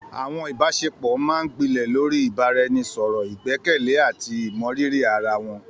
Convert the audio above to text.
Àwọn ìbáṣepọ̀ máa ń gbilẹ̀ lórí ìbáraẹnisọ̀rọ̀, ìgbẹ́kẹ̀lé, àti ìmọrírì ara wọn.